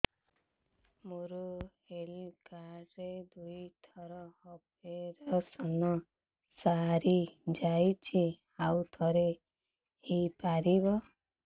ମୋର health card ରେ ଦୁଇ ଥର ଅପେରସନ ସାରି ଯାଇଛି ଆଉ ଥର ହେଇପାରିବ